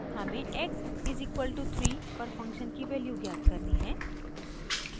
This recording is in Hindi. हमें x = 3 पर फंक्शन की वैल्यू ज्ञात करनी है